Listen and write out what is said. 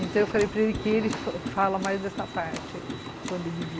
Então eu falei para ele que ele fala mais dessa parte aí, quando ele vier.